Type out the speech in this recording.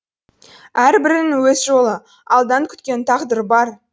әрбірінің өз жолы алдан күткен тағдыры бар